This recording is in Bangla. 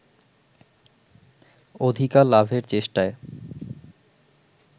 অধিকার লাভের চেষ্টায়